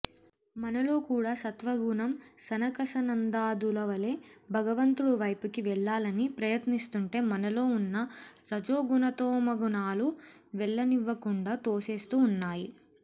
మనలో కూడా సత్వగుణం సనకసనందాదులవలే భగవంతుడు వైపుకి వెళ్ళాలని ప్రయత్నిస్తుంటే మనలో ఉన్న రజోగుణతమోగుణాలు వెళ్ళనివ్వకుండా తోసేస్తూ ఉన్నాయి